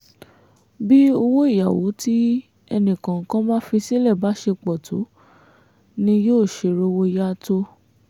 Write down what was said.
bí owó ìyàwó tí ẹnìkọ̀ọ̀kan bá fi sílẹ̀ bá ṣe pọ̀ tó ni yóò ṣe rówó yá tó